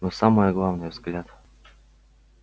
но самое главное взгляд